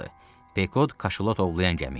Pekod kaşalot ovlayan gəmi idi.